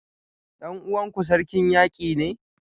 Dan uwanku Sarkin Yaki ne?